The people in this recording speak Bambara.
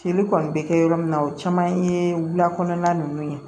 Feere kɔni bɛ kɛ yɔrɔ min na o caman ye wula kɔnɔna ninnu ye